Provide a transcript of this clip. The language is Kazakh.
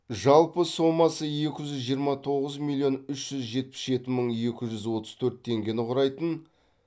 жалпы сомасы екі жүз жиырма тоғыз миллион үш жүз жетпіс жеті мың екі жүз отыз төрт теңгені құрайтын